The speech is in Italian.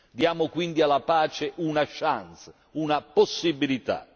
Diamo quindi alla pace una chance, una possibilità.